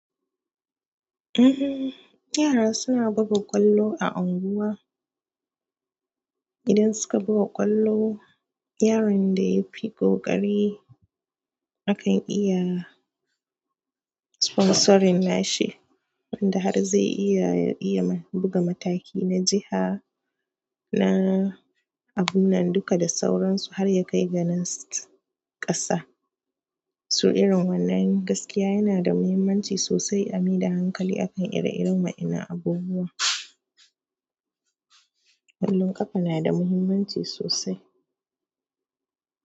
Uhm, yara suna buga ƙwallo a unguwa. Idan suka buga ƙwallo yaron da yafi ƙoƙari. Akan iya sponsoring nashi, wanda har zai iya iya buga mataki na jiha, na abun nan duka da sauransu har ya kai ga na ƙasa. Toh irin wannan gaskiya yana da muhimmanci sosai a maida hankali a. Akan ire-iren wa'innan abubuwan. Ƙwallon ƙafa na da muhimmanci sosai.